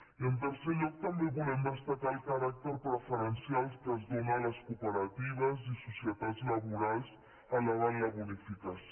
i en tercer lloc també volem destacar el caràcter preferencial que es dóna a les cooperatives i societats laborals elevant la bonificació